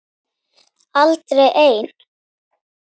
Aldrei ein